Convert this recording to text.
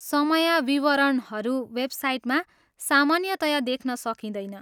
समय विवरणहरू वेबसाइटमा सामान्यतया देख्न सकिँदैन।